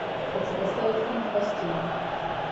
хочу поставить фильм в постели